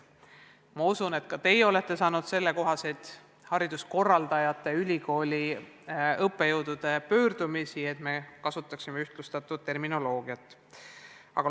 Ma usun, et ka teie olete saanud hariduskorraldajatelt ja ülikoolide õppejõududelt pöördumisi, et me kasutaksime ühtlustatud terminoloogiat.